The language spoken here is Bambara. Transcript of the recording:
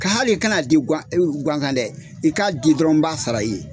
Ka hali kan'a di ganzan dɛ i ka di dɔrɔn n b'a sara i ye.